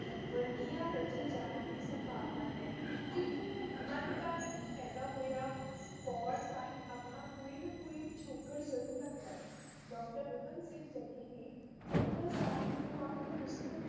ਵੰਨਗੀਆਂ ਰਚੇ ਜਾਣ ਦੀ ਸੰਭਾਵਨਾ ਹੈ ਕਿਉਂਕਿ ਮੱਧ ਕਾਲ ਵਿੱਚ ਪੈਦਾ ਹੋਇਆ ਪ੍ਰੌੜ੍ਹ ਸਾਹਿਤ ਆਪਣਾ ਕੋਈ ਨਾ ਕੋਈ ਪਿਛੋਕੜ ਜ਼ਰੂਰ ਰੱਖਦਾ ਹੈ, ਡਾ. ਰਤਨ ਸਿੰਘ ਜੱਗੀ ਨੇ ਫੁਟਕਲ ਸਾਹਿਤ ਨੂੰ ਆਪਣੀ ਪੁਸਤਕ